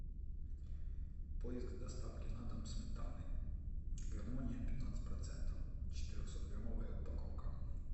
поиск доставки на дом сметаны гармония пятнадцать процентов четырехсот граммовая упаковка